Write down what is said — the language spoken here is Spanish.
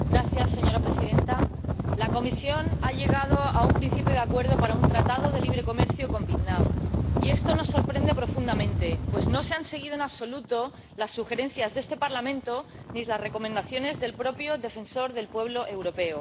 Señora Presidenta, la Comisión ha llegado a un principio de acuerdo para un Acuerdo de Libre Comercio con Vietnam y esto nos sorprende profundamente, pues no se han seguido en absoluto las sugerencias de este Parlamento, ni las recomendaciones del propio Defensor del Pueblo Europeo.